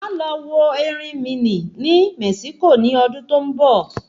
Aá lọ wo erinmí ní Mexico ní ọdún tó ń bọ̀